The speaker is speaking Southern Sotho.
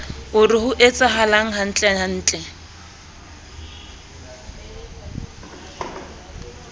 o re ho etsahalang hantlentle